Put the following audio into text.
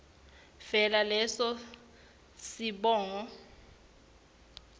vele leso sibongo